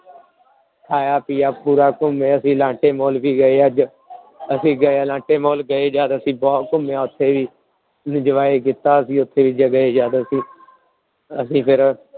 ਖਾਇਆ ਪੀਆ ਪੂਰਾ ਘੁੰਮੇ ਅਸੀਂ ਅਲਾਂਟੇ mall ਵੀ ਗਏ ਅੱਜ ਅਸੀਂ ਗਏ ਅਲਾਂਟੇ mall ਗਏ ਜਦ ਅਸੀਂ ਬਹੁਤ ਘੁੰਮਿਆ ਉੱਥੇ ਵੀ enjoy ਕੀਤਾ ਅਸੀਂ ਉੱਥੇ ਗਏ ਜਦ ਅਸੀਂ, ਅਸੀਂ ਫਿਰ